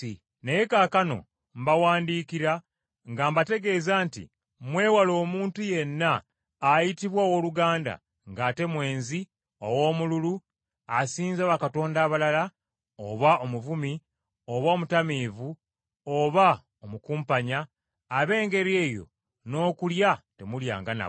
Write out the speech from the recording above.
Naye kaakano mbawandiikira nga mbategeeza nti mwewale omuntu yenna ayitibwa owooluganda ng’ate mwenzi, owoomululu, asinza bakatonda abalala, oba omuvumi, oba omutamiivu oba omukumpanya. Ab’engeri eyo n’okulya temulyanga nabo.